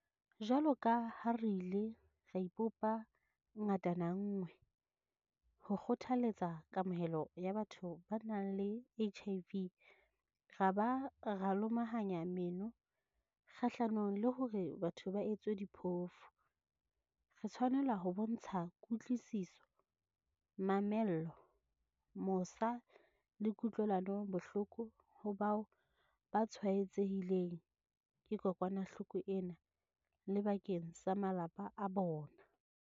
Jwaloka ha re ile ra ipopa ngatana nngwe ho kgothaletsa kamohelo ya batho ba nang le HIV ra ba ra lomahanya meno kgahlanong le hore batho ba etswe diphofu, re tshwanela ho bontsha kutlwisiso, mamello, mosa le kutlwelano bohloko ho bao ba tshwaetsehileng ke kokwanahloko ena le bakeng sa malapa a bona.